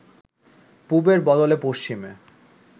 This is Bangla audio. পুবের বদলে পশ্চিমে